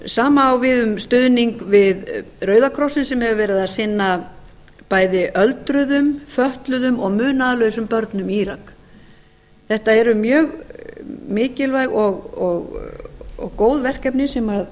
sama á við um stuðning við rauðakrossinn sem hefur verið að sinna bæði öldruðum fötluðum og munaðarlausum börnum í írak þetta eru mjög mikilvæg og góð verkefni